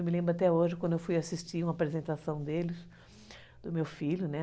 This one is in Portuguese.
Eu me lembro até hoje, quando eu fui assistir uma apresentação deles, do meu filho, né?